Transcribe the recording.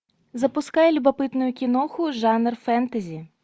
запускай любопытную киноху жанр фэнтези